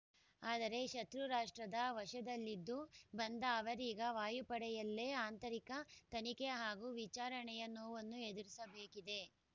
ಆದರೆ ಶತ್ರು ರಾಷ್ಟ್ರದ ವಶದಲ್ಲಿದ್ದು ಬಂದ ಅವರೀಗ ವಾಯುಪಡೆಯಲ್ಲೇ ಆಂತರಿಕ ತನಿಖೆ ಹಾಗೂ ವಿಚಾರಣೆಯ ನೋವನ್ನು ಎದುರಿಸಬೇಕಿದೆ